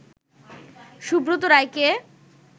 সুব্রত রায়কে